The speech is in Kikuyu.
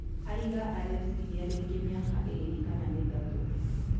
Aiga areciria rĩngĩ miaka ĩrĩ kana mĩtatũ.